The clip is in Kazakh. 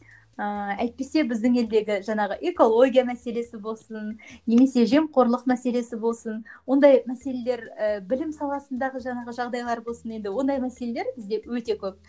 ыыы әйтпесе біздің елдегі жаңағы экология мәселесі болсын немесе жемқорлық мәселесі болсын ондай мәселелер і білім саласындағы жаңағы жағдайлар болсын енді ондай мәселелер бізде өте көп